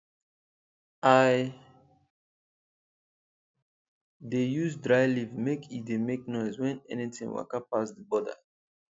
i dey use dry leaf make e dey make noise when anything waka pass the border